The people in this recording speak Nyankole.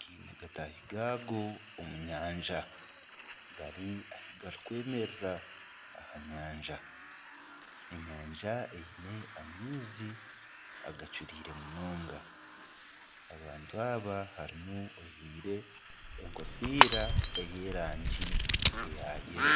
gaine gataahi gaago omu nyanja. Gari ahi garikwemerera aha nyanja. Enyanja eine amaizi agacuriire munonga. Abantu aba harimu ojwaire enkofiira ey'erangi eya kinekye.